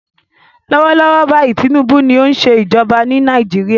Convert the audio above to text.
Lọ́wọ́ lọ́wọ́ báyìí Tinubu ni ó ń ṣe ìjọba ní Nàìjíríà.